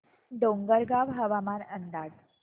डोंगरगाव हवामान अंदाज